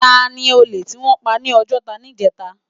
Táni ólé tiwòn pá ni Ojota nijètá?